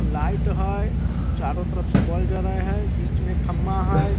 Light हेय चारों तरफ से बोल जले हेय बीच मे खंभा हेय।